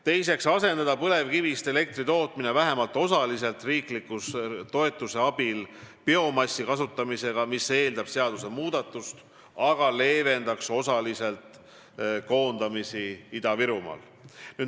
Teiseks võiks põlevkivist elektri tootmise asendada vähemalt osaliselt riikliku toetuse abil biomassi kasutamisega, mis eeldab seadusemuudatust, aga see leevendaks osaliselt koondamisi Ida-Virumaal.